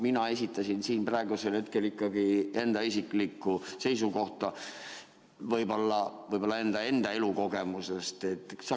Mina esitlesin siin ikkagi oma isiklikku seisukohta, mis tuguneb mu enda elukogemusele.